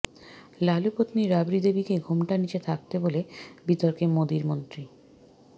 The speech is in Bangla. লালু পত্নী রাবড়ি দেবীকে ঘোমটার নিচে থাকতে বলে বিতর্কে মোদীর মন্ত্রী